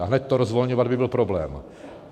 A hned to rozvolňovat by byl problém.